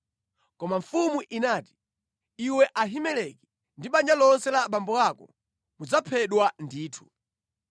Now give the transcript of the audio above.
Koma mfumu inati, “Iwe Ahimeleki ndi banja lonse la abambo ako mudzaphedwa ndithu.”